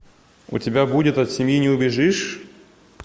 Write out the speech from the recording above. у тебя будет от семьи не убежишь